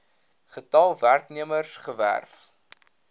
getal werknemers gewerf